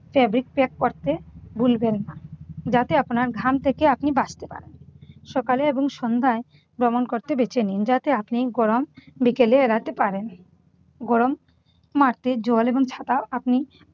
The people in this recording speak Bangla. fabric pack করতে ভুলবেন না। যাতে আপনার ঘাম থেকে আপনি বাঁচতে পারেন। সকালে এবং সন্ধায় ভ্রমণ করতে বেছে নিন। যাতে আপনি গরম বিকেলে এড়াতে পারেন। গরম জল এবং ছাতা আপনি